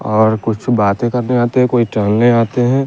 और कुछ बाते करने आते है कोई टहलने आते है।